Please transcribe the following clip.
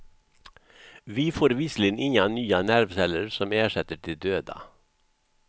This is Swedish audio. Vi får visserligen inga nya nervceller som ersätter de döda.